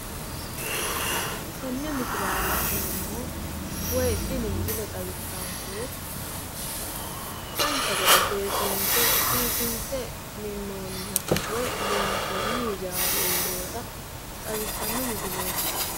Tenne misilera la'neemmohu woy tini misile xawissankehu, dancha gede seesinse biifinse minnoonniha woy loonsoonni hijaari uurrewota xawissanno misileeti